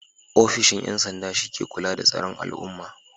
Ofishin 'yan sanda shi ke kula da tsaron al'umma.